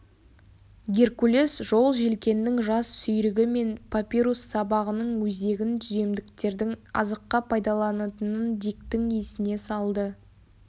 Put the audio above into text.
геркулес жолжелкеннің жас сүйрігі мен папирус сабағының өзегін түземдіктердің азыққа пайдаланатынын диктің есіне салды